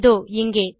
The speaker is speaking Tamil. இதோ இங்கே